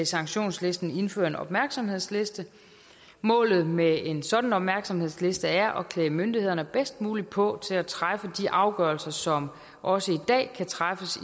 sanktionslisten indføre en opmærksomhedsliste målet med en sådan opmærksomhedsliste er at klæde myndighederne bedst muligt på til at træffe de afgørelser som også i dag kan træffes